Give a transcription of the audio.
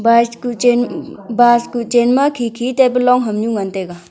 bus kuh chen ma khi khi tai pe long am nu ngan tai ga.